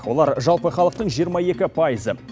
олар жалпы халықтың жиырма екі пайызы